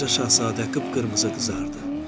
Balaca Şahzadə qıpqırmızı qızardı.